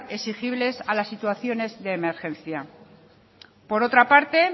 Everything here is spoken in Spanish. exigibles a las situaciones de emergencia por otra parte